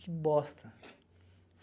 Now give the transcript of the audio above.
Que bosta.